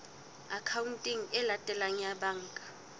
akhaonteng e latelang ya banka